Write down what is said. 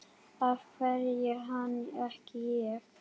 Af hverju hann, ekki ég?